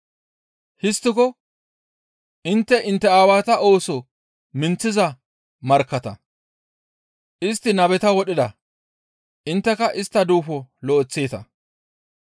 Histtiko intte intte aawata ooso minththiza markkatta; istti nabeta wodhida; intteka istta duufo lo7eththeeta.